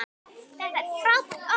Þetta er frábært orð.